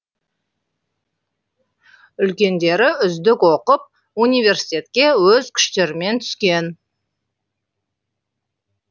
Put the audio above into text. үлкендері үздік оқып университетке өз күштерімен түскен